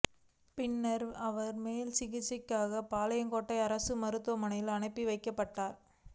பின்னா் அவா் மேல்சிகிச்சைக்காக பாளையங்கோட்டை அரசு மருத்துவமனைக்கு அனுப்பி வைக்கப்பட்டாா்